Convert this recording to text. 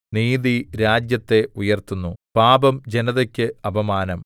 നീതി രാജ്യത്തെ ഉയർത്തുന്നു പാപം ജനതക്ക് അപമാനം